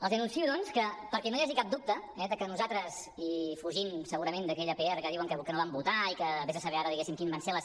els anuncio doncs que perquè no hi hagi cap dubte que nosaltres i fugint segurament d’aquella pr que diuen que no van votar i que ves a saber ara diguéssim quines van ser les